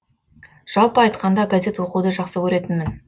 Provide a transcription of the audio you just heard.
жалпы айтқанда газет оқуды жақсы көретінмін